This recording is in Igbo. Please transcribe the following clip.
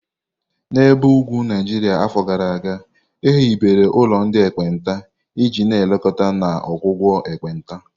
N'ebe ugwu Naijiria afọ gara aga, e hibere ụlọ ndị ekpenta iji na-elekọta na ọgwụgwọ ekpenta.